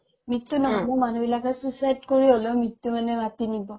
মৃত্যু নহ'লে মানুহবিলাকে suicide কৰি হ'লেও মৃত্যু মানে মাতি নিব